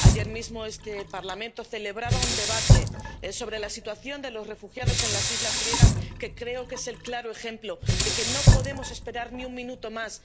Ayer mismo este Parlamento celebraba un debate sobre la situación de los refugiados en las islas griegas, que creo que es el claro ejemplo de que no podemos esperar ni un minuto más.